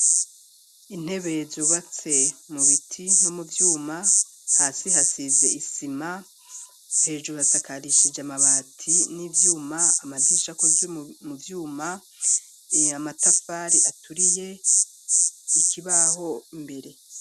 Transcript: Intebe zubatse mu biti no mu vyuma, hasi hasize isima, hejuru hasakarishije amabati n'ivyuma, amadirisha akozwe mu vyuma, amatafari aturiye ikibaho imbere.